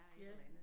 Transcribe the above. Ja